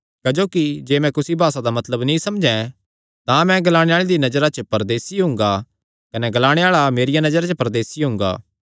क्जोकि जे मैं कुसी भासा दा मतलब नीं समझैं तां मैं ग्लाणे आल़े दिया नजरा च परदेसी हुंगा कने ग्लाणे आल़ा मेरिया नजरा च परदेसी हुंगा